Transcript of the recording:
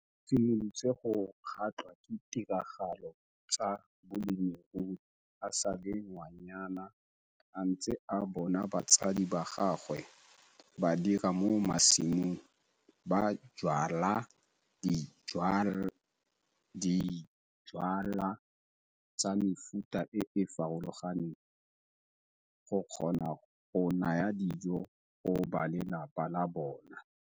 O simolotse go kgatlhwa ke ditiragalo tsa bolemirui a sa le ngwanyana a ntse a bona batsadi ba gagwe ba dira mo masimong ba jwala dijwalwa tsa mefuta e e farologaneng go kgona go naya dijo go ba lelapa la bona.